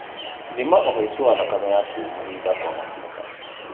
Thima ũhaicu wa thakame yaku mahinda kwa mahinda